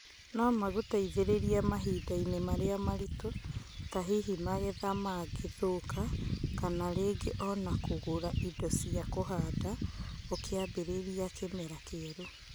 No maguteithĩrĩe mahindainĩ marĩa maritũ ta hihi magetha mangĩ thũka kana ringĩ ona kũgũra Indo cia kũhanda ũkĩ ambiriria kimera kierũ.